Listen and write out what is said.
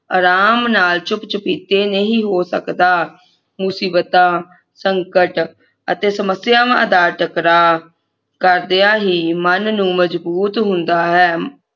ਆਰਾਮ ਨਾਲ ਚੁੱਪ ਚੁਪੀਤੇ ਨਹੀਂ ਹੋ ਸਕਦਾ ਮੁਸੀਬਤਾਂ ਸੰਕਟ ਅਤੇ ਸਮਸਿਯਾਵਾਂ ਦਾ ਟਕਰਾ ਕਰਦਿਆਂ ਹੀ ਮਨ ਨੂੰ ਮਜਬੂਤ ਹੁੰਦਾ ਹੈ